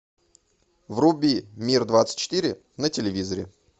вруби мир двадцать четыре на телевизоре